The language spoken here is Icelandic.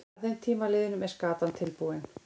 Að þeim tíma liðnum er skatan tilbúin.